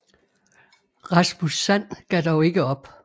Rasmus Sand gav dog ikke op